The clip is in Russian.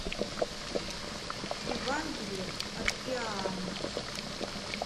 евангелие от иоанна